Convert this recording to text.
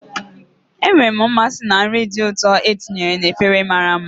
Enwere m mmasị na nri dị ụtọ e tinyere na efere mara mma.